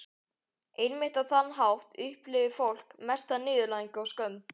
Einmitt á þann hátt upplifir fólk mesta niðurlægingu og skömm.